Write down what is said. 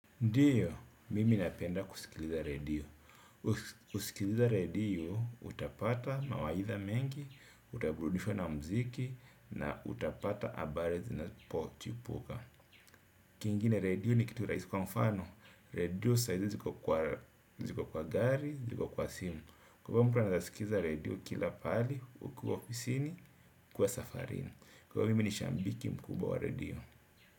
Ndiyo, mimi napenda kusikiliza redio. Kusikiliza redio, utapata mawaidha mengi, utaburudishwa na mziki, na utapata habari zinapo chipuka. Kingine redio ni kitu rahisi kwa mfano. Redio sahizi ziko kwa gari, ziko kwa simu. Kwa hivyo mtu anaweza sikiza redio kila pahali, ukiwa ofisini, ukiwa safarini. Kwa hivyo mimi ni shabiki mkubwa wa redio.